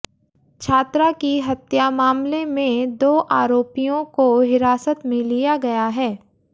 छात्रा की हत्या मामले में दो आरोपियों को हिरासत में लिया गया है